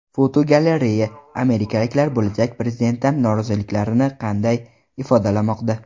Fotogalereya: Amerikaliklar bo‘lajak prezidentdan noroziliklarini qanday ifodalamoqda?.